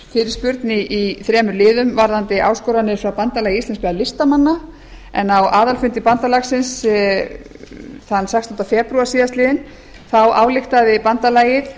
fyrirspurn í þremur liðum varðandi áskoranir frá bandalagi íslenskra listamanna en á aðalfundi bandalagsins þann sextán febrúar síðastliðinn þá ályktaði bandalagið